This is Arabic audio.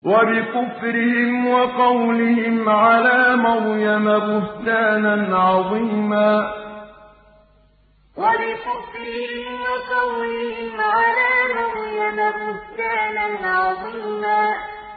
وَبِكُفْرِهِمْ وَقَوْلِهِمْ عَلَىٰ مَرْيَمَ بُهْتَانًا عَظِيمًا وَبِكُفْرِهِمْ وَقَوْلِهِمْ عَلَىٰ مَرْيَمَ بُهْتَانًا عَظِيمًا